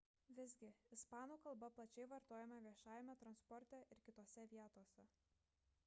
visgi ispanų kalba plačiai vartojama viešajame transporte ir kitose vietose